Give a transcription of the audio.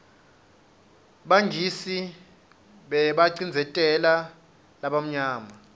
bangisi bebabacindzeteu balabamnyama